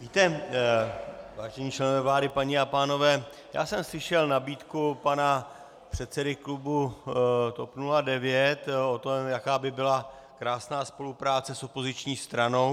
Víte, vážení členové vlády, paní a pánové, já jsem slyšel nabídku pana předsedy klubu TOP 09 o tom, jaká by byla krásná spolupráce s opoziční stranou.